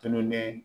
Tolonen